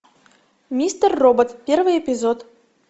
мистер робот первый эпизод